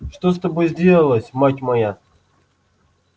что с тобою сделалось мать моя